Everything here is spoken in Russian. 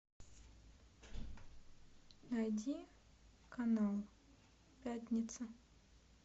найди канал пятница